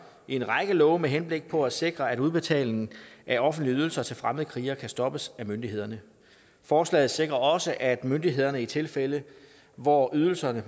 en række love med henblik på at sikre at udbetalingen af offentlige ydelser til fremmede krigere kan stoppes af myndighederne forslaget sikrer også at myndighederne i tilfælde hvor ydelserne